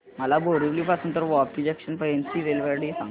मला बोरिवली पासून तर वापी जंक्शन पर्यंत ची रेल्वेगाडी सांगा